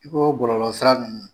I ko ko gɔlɔlɔ sira ninnu